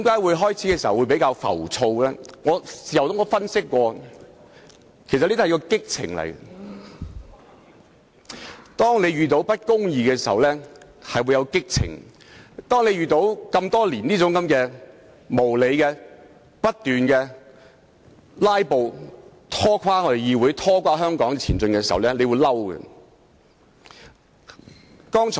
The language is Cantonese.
我在事後分析，認為這是一種激情，在遇到不公義時就會有激情，而多年來不斷面對無理的"拉布"，拖着議會和香港的後腿，就會感到憤怒。